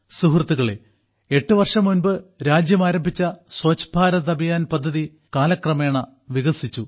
സുഹൃത്തുക്കളേ എട്ട് വർഷം മുമ്പ് രാജ്യം ആരംഭിച്ച സ്വച്ഛ് ഭാരത് അഭിയാൻ പദ്ധതികാലക്രമേണ വികാസിച്ചു